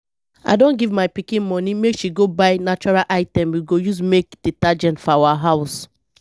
i don give my pikin money make she go buy natural items we go use make detergent for our house